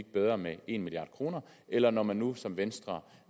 bedre med en milliard kr eller når man nu som venstre